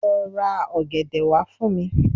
Lo ra ògèdè wa fun mi